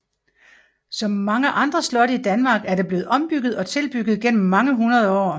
Som mange andre slotte i Danmark er det blevet ombygget og tilbygget gennem mange hundrede år